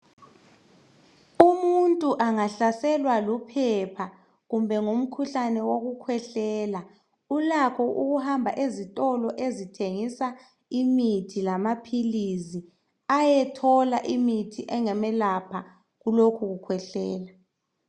Umuntu angahlaselwa luphepha kumbe ngumkhuhlane wokukhwehlela. Ulakho ukuhamba ezitolo ezithengisa imithi lamaphilizi ayethola imithi engamelapha kulokho kukhwehlela.